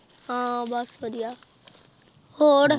ਹਾਂ ਬਸ ਵਧੀਆ ਹੋਰ।